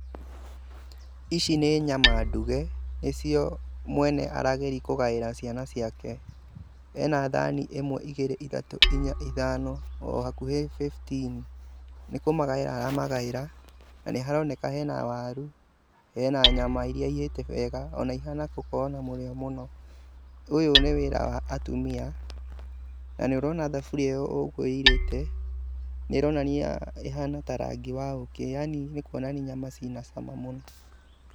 ici nĩ nyama nduge, nĩcio mwene arageria kũgaĩra ciana ciake hena thani ĩmwe, igĩrĩ, ithatũ, inya, ithano o hakuhĩ fifteen nĩ kũmagaĩra aramagaĩra na nĩ haronekana hena waru, hena nyama iria ihĩte wega ona ihana gũkorwo na mũrĩo mũno, ũyũ nĩ wĩra wa atumia na nĩ ũrona thaburi ũguo ĩirĩte nĩ ĩronania ĩhana rangi ta wa ũkĩ yaani nĩ kũonania nyama cĩna cama mũno.